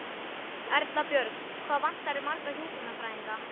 Erla Björg: Hvað vantar þér marga hjúkrunarfræðinga?